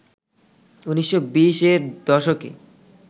১৯২০-য়ের দশকে